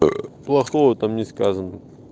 плохого там не сказано